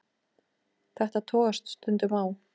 Þetta togast stundum á.